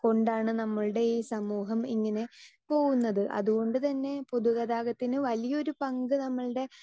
speaker 2 കൊണ്ടാണ് നമ്മൾടെ ഈ സമൂഹം ഇങ്ങനെ പോകുന്നത് അതുകൊണ്ടുതന്നെ എന്നെ പൊതുഗതാഗതത്തിന് വലിയൊരു പങ്ക് നമ്മൾടെ